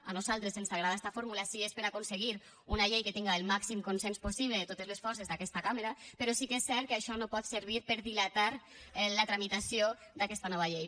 a nosaltres ens agrada esta fórmula si és per a aconseguir una llei que tinga el màxim consens possible de totes les forces d’aquesta cambra però sí que és cert que això no pot servir per a dilatar la tramitació d’aquesta nova llei